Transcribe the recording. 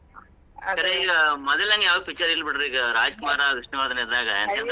ಸರಿ ಈಗ ಮೊದಲಿನಂಗ ಯಾವೂ picture ಇಲ್ಲಬಿಡ್ರಿ ಈಗ, ರಾಜಕುಮಾರ, ವಿಷ್ಣುವರ್ಧನ ಇದ್ದಾಗ .